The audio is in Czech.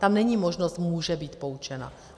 Tam není možnost může být poučena.